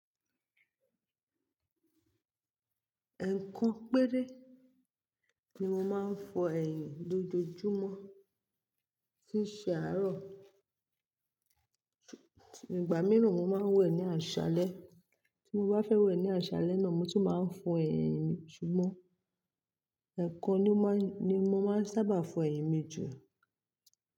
Ẹ̀ẹ̀kan péré ni mo máa ń fọ ẹ̀yìn lójoojúmọ́ tí ṣe àárọ̀. Ṣù-- ìgbà mìíràn mo máa wẹ̀ ní àṣálẹ́. Tí mo bá fẹ́ wẹ̀ ní àṣálẹ́ náà, mo tun máa ń fọ ẹ̀yìn mi. Ṣùgbọ́n ẹ̀ẹ̀kan ni mo máa ń sábà fọ ẹ̀yìn mi jù.